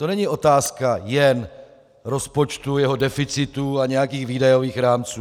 To není otázka jen rozpočtu, jeho deficitu a nějakých výdajových rámců.